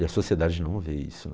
E a sociedade não vê isso, né.